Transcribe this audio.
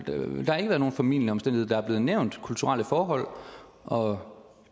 nogen formildende omstændigheder der er blevet nævnt kulturelle forhold og